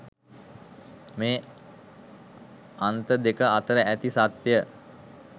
මේ අන්ත දෙක අතර ඇති සත්‍යය